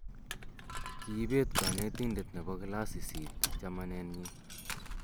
Kiibet konetinte ne bi klasit sisit chameneenyi.